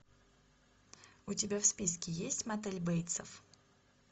у тебя в списке есть мотель бейтсов